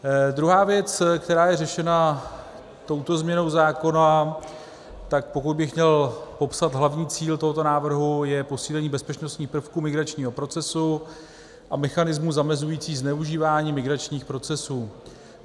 Druhá věc, která je řešena touto změnou zákona, tak pokud bych měl popsat hlavní cíl tohoto návrhu, je posílení bezpečnostních prvků migračního procesu a mechanismu zamezujícího zneužívání migračních procesů.